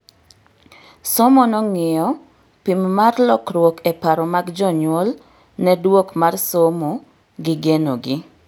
Somo nong'iyo pim mar lokruok e paro mag jonyuol ne duok mar somo gi genogi